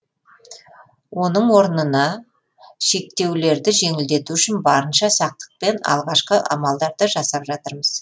оның орнына шектеулерді жеңілдету үшін барынша сақтықпен алғашқы амалдарды жасап жатырмыз